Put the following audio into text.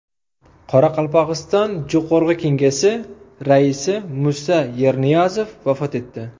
Qoraqalpog‘iston Jo‘qorg‘i Kengesi raisi Musa Yerniyazov vafot etdi.